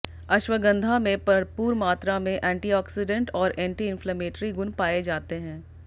अश्वगंधा में भरपूर मात्रा में एंटीऑक्सीडेंट और एंटीइंफ्लेमेटरी गुण पाए जाते हैं